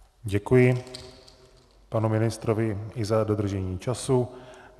Děkuji panu ministrovi i za dodržení času.